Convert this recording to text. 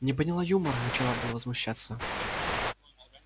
не поняла юмора начала было возмущаться